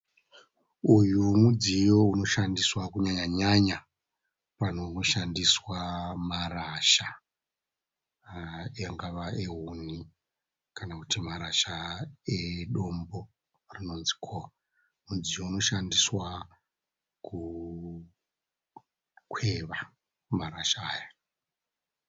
Uyu mudziyo unoshandiswa kunyanya-nyanya panonoshandiswa marasha. Angava ehuni kana kuti marasha edombo rinonzi "coal'. Mudziyo unoshandiswa kukweva marasha aya.